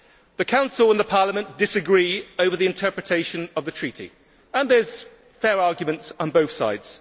The Council and Parliament disagree over the interpretation of the Treaty, and there are fair arguments on both sides.